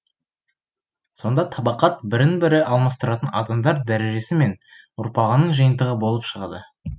сонда табақат бірін бірі алмастыратын адамдар дәрежесі мен ұрпағының жиынтығы болып шығады